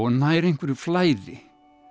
nær einhverju flæði